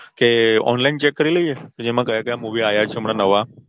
કે Online check કરી લઇ એ જેમાં કયા કયા Movie આયા છે હમણાં નવા